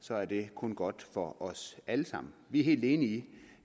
så er det kun godt for os alle sammen vi er helt enige i